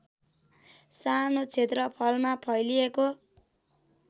सानो क्षेत्रफलमा फैलिएको